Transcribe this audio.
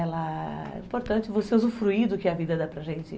É importante você usufruir do que a vida dá para gente.